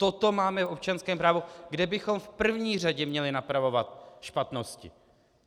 Toto máme v občanském právu, kde bychom v první řadě měli napravovat špatnosti.